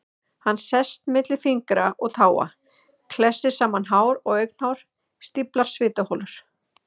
Hann sest milli fingra og táa, klessir saman hár og augnhár, stíflar svitaholur.